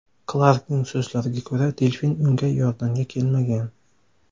Klarkning so‘zlariga ko‘ra, delfin unga yordamga kelmagan.